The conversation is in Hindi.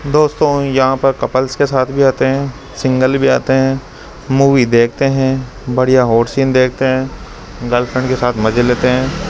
दोस्तों यहां पर कपल्स के साथ भी आते हैं सिंगल भी आते हैं मूवी देखते हैं बढ़िया हॉट सीन देखते हैं गर्लफ्रेंड के साथ मजे लेते हैं।